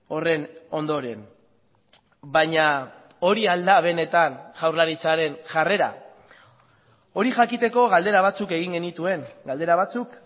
horren ondoren baina hori al da benetan jaurlaritzaren jarrera hori jakiteko galdera batzuk egin genituen galdera batzuk